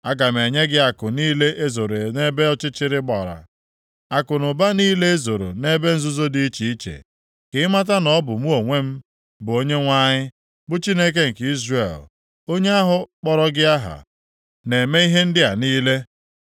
Aga m enye gị akụ niile e zoro nʼebe ọchịchịrị gbara, akụnụba niile e zoro nʼebe nzuzo dị iche iche. Ka ị mata na ọ bụ mụ onwe m bụ Onyenwe anyị, bụ Chineke nke Izrel, onye ahụ kpọrọ gị aha, na-eme ihe ndị a niile.